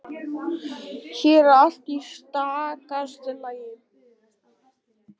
Hér er allt í stakasta lagi.